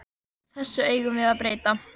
Þessu eigum við að breyta.